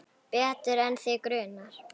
Betur en þig grunar.